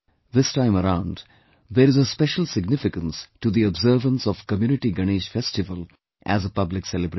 This time around, there is a special significance to the observance of community Ganesh festival as a public celebration